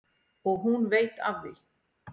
Og hún veit af því.